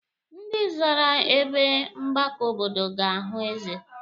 Ndị zara ebe mgbakọ obodo ga-ahụ eze.